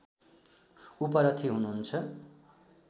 उपरथी हुनुहुन्छ